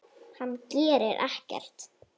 Hann gerir ekkert.